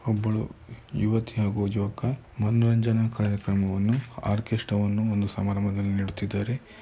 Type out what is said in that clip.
ಒಬ್ಬಳು ಯುವತಿ ಆಗು ಯುವಕ ಮನರಂಜನೆ ಕಾರ್ಯಕ್ರಮವನ್ನು ಆರ್ಕೆಸ್ಟ್ರಾವನ್ನು ಒಂದು ಸಮಾರಂಭದಲ್ಲಿ ನೀಡುತ್ತಿದ್ದಾರೆ.